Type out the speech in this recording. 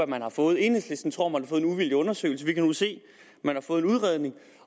man har fået enhedslisten tror man har fået en uvildig undersøgelse men vi kan nu se at man har fået en udredning